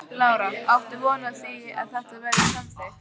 Lára: Áttu von á því að þetta verði samþykkt?